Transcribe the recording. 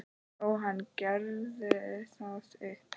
Jóhann: Gefurðu það upp?